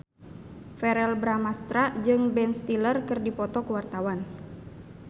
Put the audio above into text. Verrell Bramastra jeung Ben Stiller keur dipoto ku wartawan